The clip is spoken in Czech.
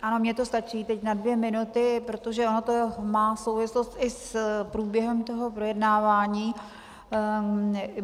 Ano, mně to stačí teď na dvě minuty, protože ono to má souvislost i s průběhem toho projednávání.